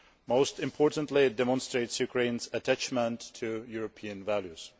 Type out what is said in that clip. Most importantly, it demonstrates Ukraine's attachment to European values.